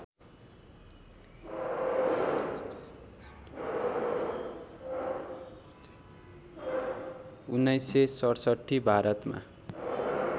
१९६७ भारतमा